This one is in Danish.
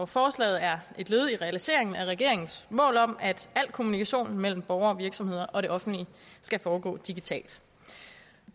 forslaget er et led i realiseringen af regeringens mål om at al kommunikation mellem borgere og virksomheder og det offentlige skal foregå digitalt